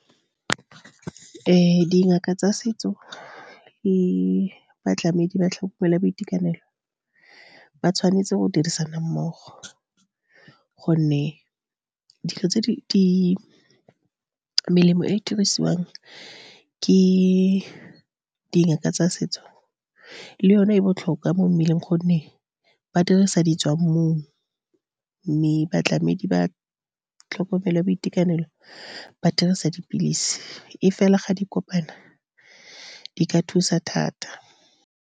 Dingaka tsa setso le batlamedi ba tlhokomelo ya boitekanelo ba tshwanetse go dirisana mmogo, gonne dilo tse di melemo e dirisiwang ke dingaka tsa setso, le yone e botlhokwa mo mmeleng, gonne ba dirisa di tswa mmung. Mme batlamedi ba tlhokomelo ya boitekanelo ba dirisa dipilisi, mme fela, ga di kopana, di ka thusa thata.